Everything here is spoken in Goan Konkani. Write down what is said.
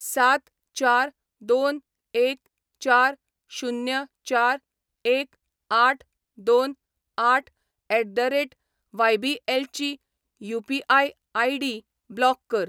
सात चार दोन एक चार शुन्य चार एक आठ दोन आठ एट द रेट वायबीएलची यू.पी.आय. आय.डी. ब्लॉक कर.